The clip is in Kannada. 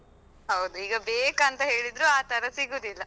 ಹೌದು, ಈಗ ಬೇಕಂತ ಹೇಳಿದ್ರೂ ಆತರ ಸಿಗುದಿಲ್ಲ.